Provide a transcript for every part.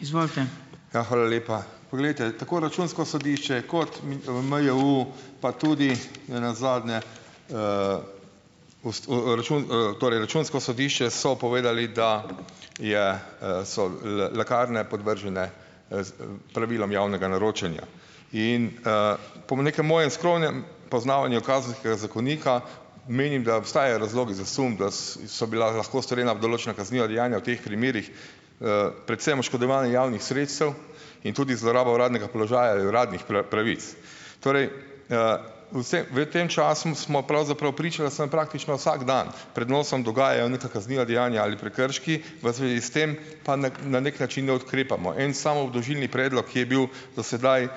Ja, hvala lepa. Poglejte, tako Računsko sodišče kot MJU , pa tudi nenazadnje, torej Računsko sodišče, so povedali, da je, so lekarne podvržene pravilom javnega naročanja. In, po nekem mojem skromnem poznavanju Kazenskega zakonika menim, da obstajajo razlogi za sum, da so bila lahko storjena določena kazniva dejanja v teh primerih, predvsem oškodovanje javnih sredstev in tudi zloraba uradnega položaja, uradnih pravic. Torej, vse, v tem času smo pravzaprav pričali praktično vsak dan. Pred nosom dogajajo neka kazniva dejanja ali prekrški, v zvezi s tem pa na neki način ne ukrepamo. En sam obdolžilni predlog, ki je bil do sedaj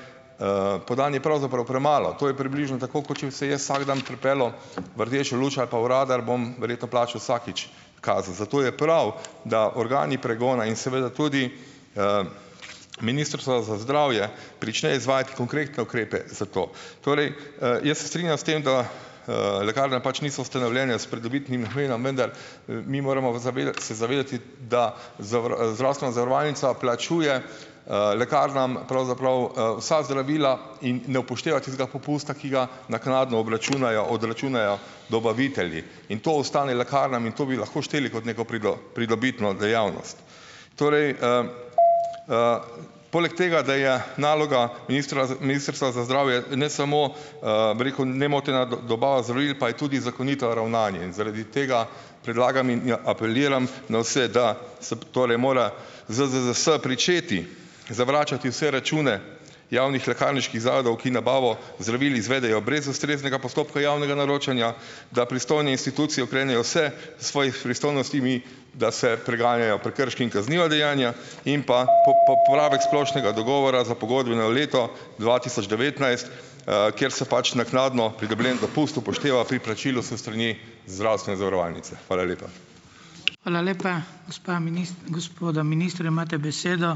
podan, je pravzaprav premalo. To je približno tako, kot če bi se jaz vsak dan pripeljal v rdečo luč ali pa v radar, bom verjetno plačal vsakič kazen. Zato je prav, da organi pregona in seveda tudi, Ministrstvo za zdravje prične izvajati konkretne ukrepe za to. Torej, jaz se strinjam s tem, da, lekarne pač niso ustanovljene s pridobitnim namenom , vendar, mi moramo zavedati se , zavedati, da zdravstvena zavarovalnica plačuje, lekarnam pravzaprav, vsa zdravila in ne upošteva tistega popusta, ki ga naknadno obračunajo , odračunajo dobavitelji. In to ostane lekarnam in to bi lahko šteli kot neko pridobitno dejavnost. Torej, poleg tega, da je naloga ministra, Ministrstva za zdravje, ne samo, bi reku, nemotena dobava zdravil, pa je tudi zakonito ravnanje. Zaradi tega predlagam in apeliram na vse, da se tole mora ZZZS pričeti zavračati vse račune javnih lekarniških zavodov, ki nabavo zdravil izvedejo brez ustreznega postopka javnega naročanja, da pristojne institucije ukrenejo vse svojih pristojnostih, da se preganjajo prekrški in kazniva dejanja, in pa porabe k splošnega dogovora za pogodbeno leto dva tisoč devetnajst, kjer se pač naknadno pridobljen dopust upošteva pri plačilu s strani zdravstvene zavarovalnice. Hvala lepa.